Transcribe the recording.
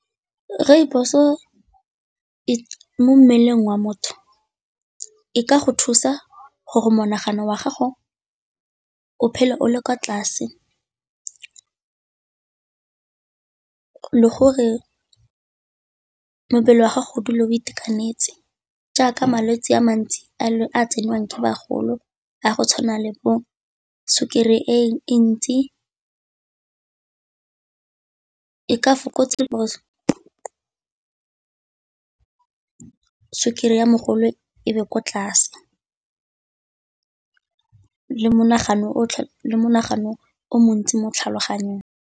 Rooibos-o mo mmeleng wa motho e ka go thusa gore monagano wa gago o phele o le kwa tlase, gore mebele ya gago o dule o itekanetse jaaka malwetse a mantsi a a tsenngwang ke bagolo a go tshwana le bo sukiri e ntsi, ka sukiri ya mogolo ebe kwa tlase le monagano o montsi mo tlhaloganyong.